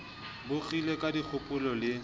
bo kgile ka dikgopo le